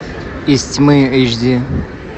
из тьмы эйч ди